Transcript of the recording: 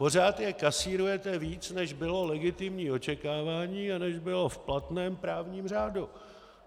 Pořád je kasírujete víc, než bylo legitimní očekávání a než bylo v platném právním řádu.